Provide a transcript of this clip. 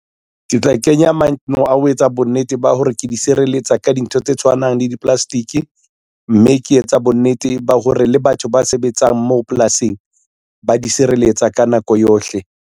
Ke tla kenya a ho etsa bonnete ba hore ke di sireletsa ka dintho tse tshwanang le di-plastic, mme ke etsa bonnete ba hore le batho ba sebetsang moo polasing, ba di sireletsa ka nako yohle.